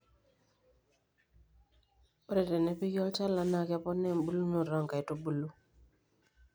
ore tenepiki olchala naa keponaa ebulunoto o nkaitubulu